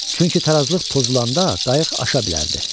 Çünki tarazlıq pozulanda qayıq aşa bilərdi.